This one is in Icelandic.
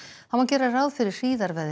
þá má gera ráð fyrir